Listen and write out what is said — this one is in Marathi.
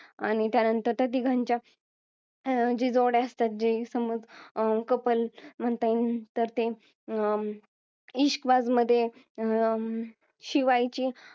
आणि त्यानंतर त्या तिघांच्या जी जोड्या असतात जे समाज अं couple म्हणता येईन तर ते अं इश्कबाज मध्ये अं शिवायची